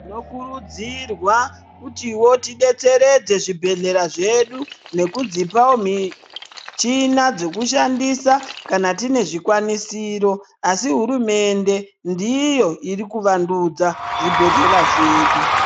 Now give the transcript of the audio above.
Tinokurudzirwa kutivo tibetseredze zvibhedhlera zvedu nekudzipavo michina dzekushandisa kana tine zvikwanisiro. Asi hurumende ndiyo iri kuvandudza zvibhedhlera zvedu.